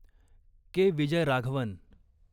के. Vijayaraghavan